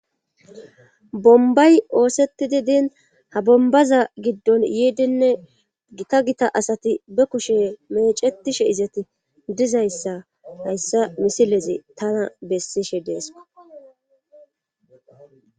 bombay oosetti di din ha bombaza giddon yiidinne gita gita asati be kushe mecetishe izeti dizayssa hayssa misileze tana bessishe deesko